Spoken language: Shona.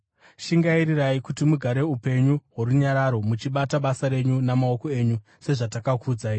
Shingairirai kuti mugare upenyu hworunyararo, muchibata basa renyu namaoko enyu, sezvatakakuudzai,